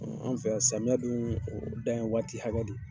Ɔn anw fɛ yan samiya dun, o dan ye waati hakɛ de ye.